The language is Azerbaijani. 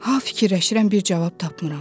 Ha fikirləşirəm, bir cavab tapmıram.